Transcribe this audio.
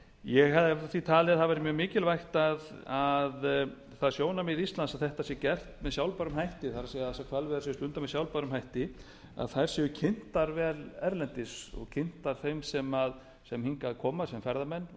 ég hefði því talið að það væri mjög mikilvægt það sjónarmið íslands að þetta sé gert með sjálfbærum hætti það er þær hvalveiðar sem eru stundaðar með sjálfbærum hætti séu kynntar vel erlendis og kynntar þeim sem hingað koma sem